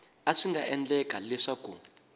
a swi nga endleka leswaku